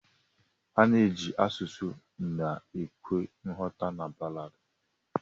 Ana eji asụsụ na ekwe nghọta na ballad.